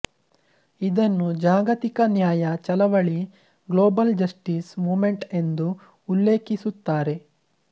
ಇದನ್ನು ಜಾಗತಿಕ ನ್ಯಾಯ ಚಳವಳಿ ಗ್ಲೊಬಲ್ ಜಸ್ಟಿಸ್ ಮೂಮೆಂಟ್ಎಂದೂ ಉಲ್ಲೇಖಿಸುತ್ತಾರೆ